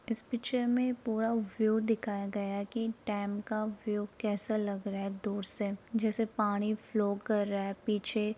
इस पिक्चर में पूरा व्यू दिखाया गया है की डैम का व्यू कैसा लग रहा है दूर से जैसे पानी फ़्लो कर रहा है पीछे --